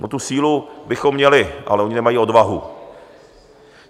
No, tu sílu bychom měli, ale oni nemají odvahu.